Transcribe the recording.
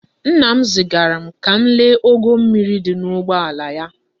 Nna m zigaram ka m lee ogo mmiri di n'ugboala ya di.